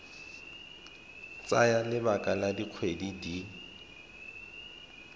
tsaya lebaka la dikgwedi di